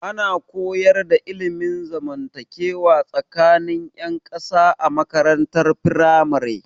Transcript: Ana koyar da ilmin zamantakewa tsakanin 'yan kasa a makarantar firamare.